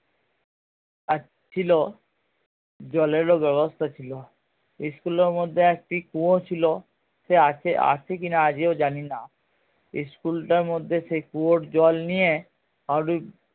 ছিলো জলেরও ব্যাবস্থা ছিলো school এর মধ্যে একটা কুয়ো ছিলো সে আ~আছে কিনা আজও জানি না school টার মধ্যে সেই কুয়োর জল নিয়ে